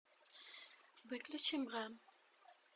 выключи бра